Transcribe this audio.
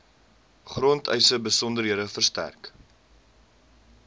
grondeise besonderhede verstrek